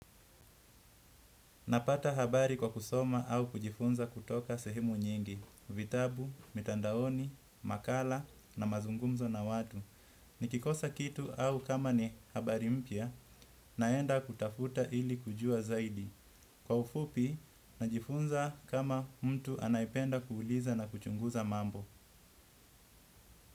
Napata habari kwa kusoma au kujifunza kutoka sehemu nyingi, vitabu, mitandaoni, makala na mazungumzo na watu. Nikikosa kitu au kama ni habari mpya, naenda kutafuta ili kujua zaidi. Kwa ufupi, najifunza kama mtu anayependa kuuliza na kuchunguza mambo.